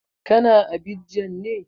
Ka na Abidjan ne?